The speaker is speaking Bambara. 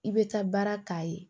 I bɛ taa baara k'a ye